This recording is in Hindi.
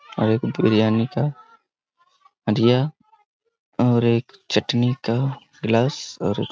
और एक बिरयानी का हाड़ीया और एक चटनी का गिलास और एक--